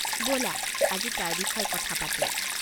ব'লা আজি তাৰ বিষয়ে কথা পাতোঁ।